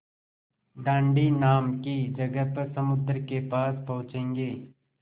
दाँडी नाम की जगह पर समुद्र के पास पहुँचेंगे